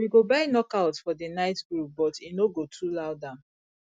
we go buy knockouts for the night groove but e no go too loud am